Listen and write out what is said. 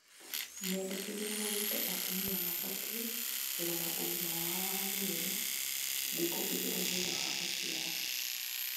Mendekithia maugĩte atumia mabatiĩ kũrora ũgima wao wa mwĩrĩ thikũ igĩrĩ thutha wa gũciara